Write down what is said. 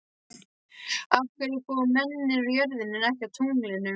Af hverju búa mennirnir á jörðinni en ekki á tunglinu?